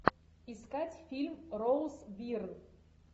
искать фильм роуз бирн